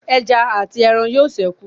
Ẹja àti aràn yóò sẹku